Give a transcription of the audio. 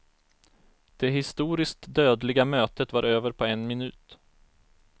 Det historiskt dödliga mötet var över på en minut.